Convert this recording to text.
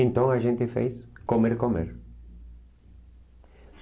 Então a gente fez comer, comer.